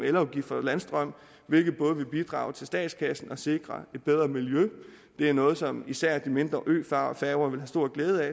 elafgift på landstrøm hvilket både vil bidrage til statskassen og sikre et bedre miljø det er noget som især de mindre øfærger vil have stor glæde af